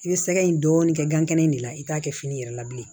I bɛ sɛgɛ in dɔɔnin kɛ gan kɛnɛ de la i k'a kɛ fini yɛrɛ la bilen